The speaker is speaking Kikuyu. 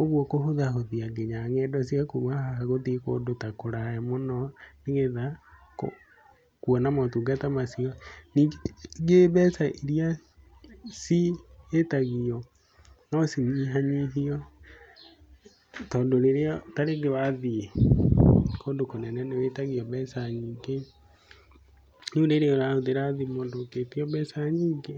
Ũguo kũhũthahũthia nginya ng'endo cia kuma haha gũthiĩ kũndũ ta kũraya mũno, nĩgetha kuona motungata macio. Ningĩ mbeca iria ciĩtagio no cinyihanyihio, tondũ ta rĩrĩa rĩngĩ wathiĩ kũndũ kũnene nĩ wĩtagio mbeca nyingĩ. Rĩu rĩrĩa ũrahũthĩra thimũ ndũngĩtio mbeca nyingĩ.